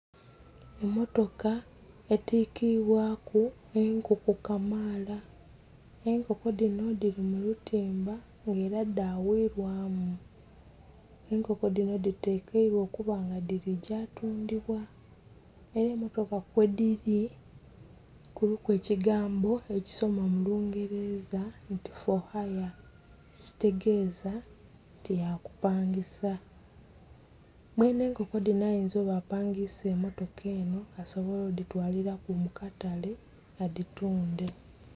Emotoka etikiibwaku enkoko kamaala, enkoko dhinho dhili mu lutimba nga ele dhghuilwamu. Enkoko dhinho dhitekeilwa okuba nga dhiligya tundhibwa, era emotoka kwedhili, kuliku ekigambo ekisoma mu lungeleza nti "for hare" ekitegeeza nti takupangisa. Mwenhe nkoko dhinho ayinza okuba nga apangisa emotoka enho asobole odhitwalilaku mu katale adhitundhe.